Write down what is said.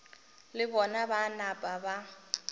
le bona ba napa ba